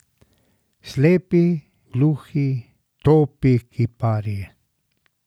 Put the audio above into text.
Slepi, gluhi, topi kiparji.